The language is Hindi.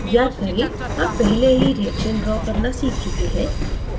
याद करें हम पहले ही reaction draw करना सीख चुके हैं